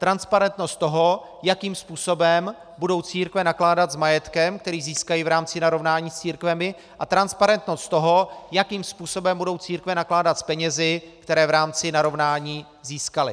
Transparentnost toho, jakým způsobem budou církve nakládat s majetkem, který získají v rámci narovnání s církvemi, a transparentnost toho, jakým způsobem budou církve nakládat s penězi, které v rámci narovnání získaly.